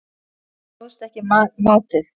Ég stóðst ekki mátið